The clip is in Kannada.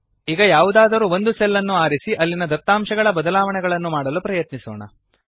ಈಗ ಯಾವುದಾದರೂ ಒಂದು ಸೆಲ್ ಅನ್ನು ಆರಿಸಿ ಅಲ್ಲಿನ ದತ್ತಾಂಶಗಳಡೇಟಾ ಬದಲಾವಣೆಯನ್ನು ಮಾಡಲು ಪ್ರಯತ್ನಿಸೋಣ